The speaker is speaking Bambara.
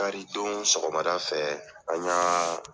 kari don sɔgɔmada fɛ an ɲa